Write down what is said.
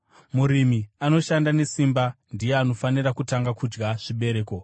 Murimi anoshanda nesimba ndiye anofanira kutanga kudya zvibereko.